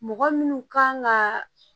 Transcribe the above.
Mɔgɔ minnu kan ka